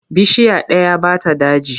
Bishiya ɗaya ba ta daji.